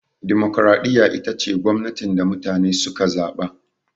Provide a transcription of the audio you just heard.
Dimokuraɗiyya ita ce gwamnatin da mutane suka zaɓa